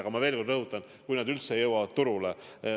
Aga ma veel kord rõhutan, see on nii, kui vaktsiinid üldse jõuavad turule.